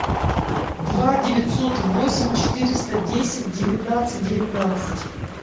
два девятьсот восемь четыреста десять девятнадцать девятнадцать